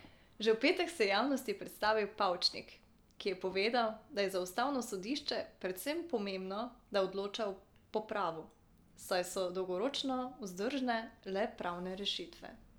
Že v petek se je javnosti predstavil Pavčnik, ki je povedal, da je za ustavno sodišče predvsem pomembno, da odloča po pravu, saj so dolgoročno vzdržne le pravne rešitve.